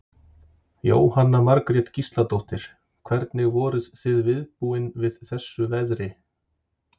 Jóhanna Margrét Gísladóttir: Hvernig voruð þið viðbúin við þessu veðri?